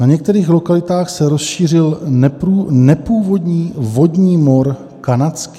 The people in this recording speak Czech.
Na některých lokalitách se rozšířil nepůvodní vodní mor kanadský.